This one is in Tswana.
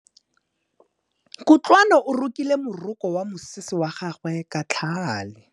Kutlwanô o rokile morokô wa mosese wa gagwe ka tlhale.